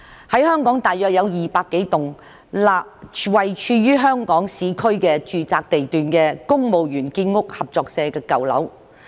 香港大約有200多棟位處香港市區住宅地段的公務員建屋合作社的舊樓。